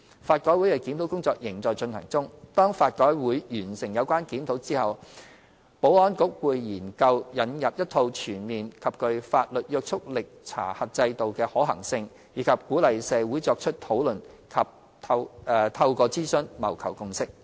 法改會的檢討工作仍在進行中。當法改會完成有關檢討之後，保安局會研究引入一套全面及具法律約束力查核制度的可行性，以及鼓勵社會作出討論及透過諮詢謀求共識。